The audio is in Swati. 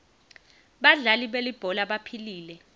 badlali belibhola baphilile